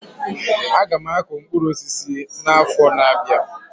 Aga m akọ mkpụrụ osisi na-afo n'abia.